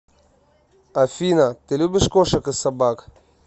афина ты любишь кошек и собак